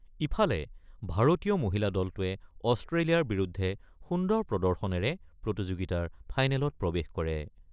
ইফালে, ভাৰতীয় মহিলা দলটোৱে অষ্ট্ৰেলিয়াৰ বিৰুদ্ধে সুন্দৰ প্ৰদৰ্শনেৰে প্ৰতিযোগিতাৰ ফাইনেলত প্ৰৱেশ কৰে।